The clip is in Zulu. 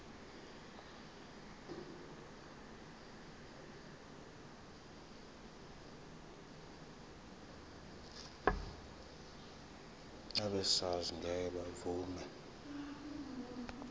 abesars ngeke bavuma